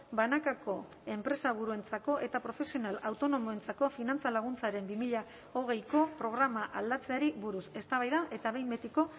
banakako enpresaburuentzako eta profesional autonomoentzako finantza laguntzaren bi mila hogeiko programa aldatzeari buruz eztabaida eta behin betiko